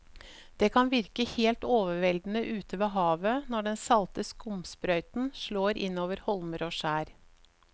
Det kan virke helt overveldende ute ved havet når den salte skumsprøyten slår innover holmer og skjær.